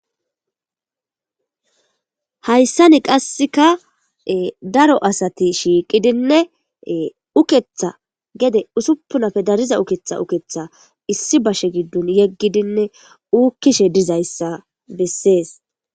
Hayssani qassekka ee daro asati shiqidinne uukeetha gede ussuppunappe dariza uukeetha uukeetha issi bashe gidon yegidinne uukish dizayssa besses.